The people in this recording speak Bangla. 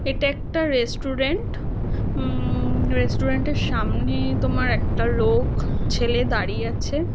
এটা একটা রেস্টুরেন্ট । উমম রেস্টুরেন্ট -এর সামনে তোমার একটা লোক ছেলে দাঁড়িয়ে আছে।